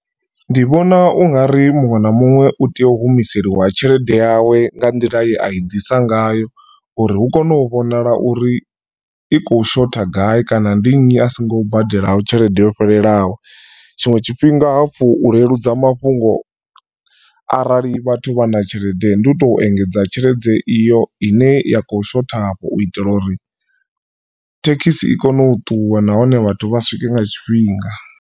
Ndi vhona ungari muṅwe na muṅwe u tea u humiseliwa tshelede yawe nga nḓila ye a i ḓisa ngayo uri hu kone u vhonala uri i kho shotha gai kana ndi nnyi asingo badelaho tshelede yo fhelelaho. Tshiṅwe tshifhinga hafhu u leludza mafhungo arali vhathu vha na tshelede ndi u tou engedza tshelede iyo ine ya kho shotha afho u itela uri thekhisi i kone u ṱuwa nahone vhathu vha swike nga tshifhinga.